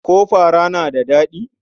Ko fara na da daɗi?